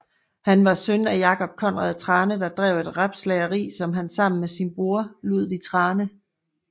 Han var søn af Jacob Kondrup Thrane der drev et rebslageri som han sammen med sin bror Ludvig Thrane